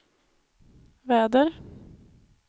väder